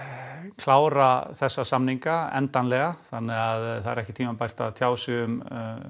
klára þessa samninga endanlega þannig að það er ekki tímabært að tjá sig um